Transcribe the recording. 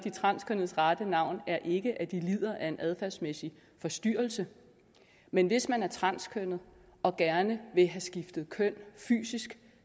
transkønnedes rette navn er ikke at de lider af en adfærdsmæssig forstyrrelse men hvis man er transkønnet og gerne vil have skiftet køn fysisk